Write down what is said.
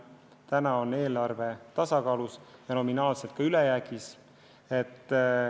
Nüüd on eelarve tasakaalus ja nominaalselt ka ülejäägis.